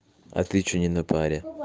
а ты что не на паре